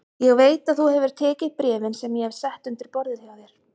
Ég veit að þú hefur tekið bréfin sem ég hef sett undir borðið hjá þér